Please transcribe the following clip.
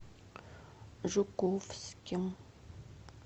жуковским